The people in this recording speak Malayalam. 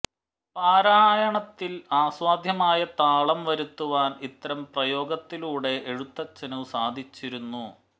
പാരായണത്തിൽ ആസ്വാദ്യമായ താളം വരുത്തുവാൻ ഇത്തരം പ്രയോഗത്തിലൂടെ എഴുത്തച്ഛനു സാധിച്ചിരുന്നു